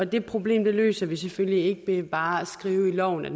det problem løser vi selvfølgelig ikke ved bare at skrive i loven at